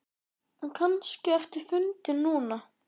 En kannski ertu fundin núna.